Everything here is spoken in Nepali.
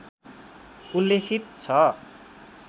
उल्लेखित छ